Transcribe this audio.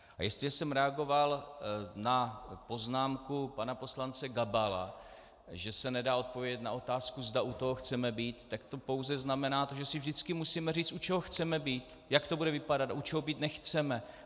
A jestliže jsem reagoval na poznámku pana poslance Gabala, že se nedá odpovědět na otázku, zda u toho chceme být, tak to pouze znamená to, že si vždycky musíme říct, u čeho chceme být, jak to bude vypadat, a u čeho být nechceme.